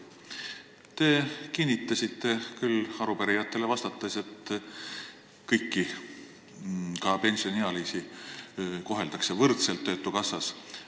Te kinnitasite arupärijatele vastates, et kõiki, ka pensioniealisi koheldakse töötukassas võrdselt.